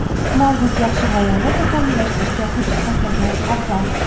mavjud yaxshi g‘oyani takomillashtirishga kuch sarflagan afzal.